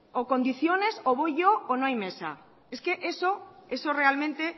o condiciones o voy yo o no hay mesa es que eso realmente